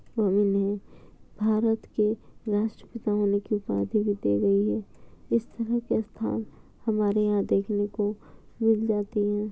और इन्हे भारत के राष्ट्रपिता होने की उपाधि भी दी गई है इस तरह के स्थान हमारे यहाँ देखने को मिल जाती है।